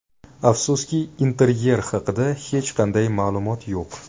Afsuski, interyer haqida hech qanday ma’lumot yo‘q.